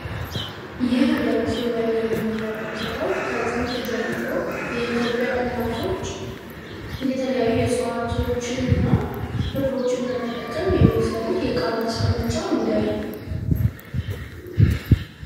ይህ በምስሉ ላይ የምንመለከታው ከጥንት ጀምሮ የኢትዮጵያ እናቶች የተለያዩ የጽዋቶችን ና ክሮችን በመጠቀም የሚሰሩት የቃማስቀ መጫ ሙዳይ ነው።